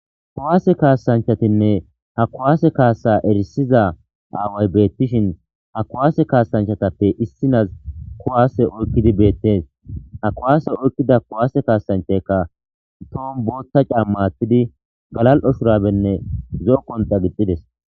kuwase kaasanchatinne ha kuwase kaasa erisiza aaway beettishin ha kuwaase kaasanchatappe issinas kuwaase oykkidi beettees ha kuwaase oykkida kuwaase kaasanchaka tohon botha cama aththidinne galal'o shurabenne zo'o qonxa gixxidees